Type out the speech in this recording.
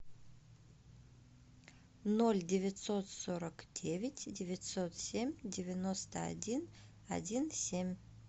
ноль девятьсот сорок девять девятьсот семь девяносто один один семь